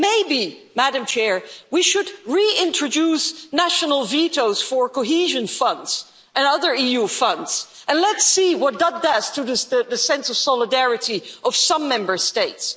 Maybe, Madam President, we should reintroduce national vetoes for cohesion funds and other EU funds and let's see what that does to the sense of solidarity of some Member States.